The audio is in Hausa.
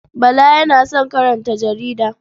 Bala yana son karanta jarida.